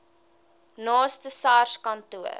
naaste sars kantoor